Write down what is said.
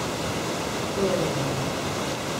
To je dovolj.